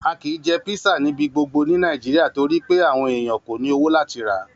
A ki jẹ písà níbi gbogbo ni Nàíjíríà torípẹ́ àwon èèyàn ko ni owó láti ra.